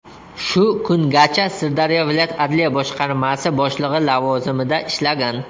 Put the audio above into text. Shu kungacha Sirdaryo viloyat adliya boshqarmasi boshlig‘i lavozimida ishlagan.